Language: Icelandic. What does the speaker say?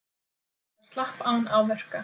Það slapp án áverka.